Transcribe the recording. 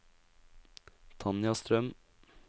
Tanja Strøm